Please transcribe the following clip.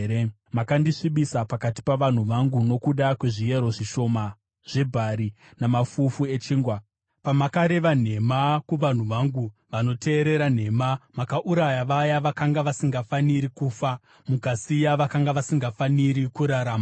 Makandisvibisa pakati pavanhu vangu nokuda kwezviyero zvishoma zvebhari namafufu echingwa. Pamakareva nhema kuvanhu vangu, vanoteerera nhema, makauraya vaya vakanga vasingafaniri kufa, mukasiya vakanga vasingafaniri kurarama.